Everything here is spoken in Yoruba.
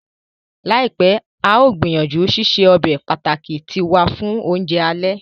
Laipẹ, a yóò gbìyànjú ṣiṣe ọbe pàtàki tiwa fun ounjẹ alẹ.